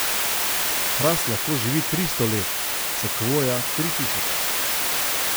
Hrast lahko živi tristo let, sekvoja tri tisoč.